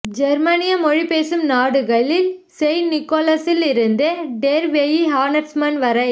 ஜேர்மனிய மொழி பேசும் நாடுகளில் செயின்ட் நிக்கோலஸிலிருந்து டெர் வெயிஹானாட்ச்ஸ்மன் வரை